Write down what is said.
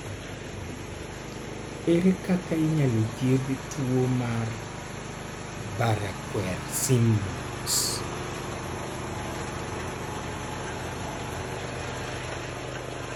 Ere kaka inyalo thiedh tuwo mar Barraquer Simons?